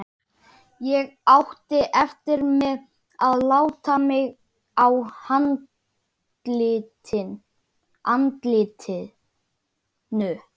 Fyrsta gimbrin var víst líka kölluð lambadrottning.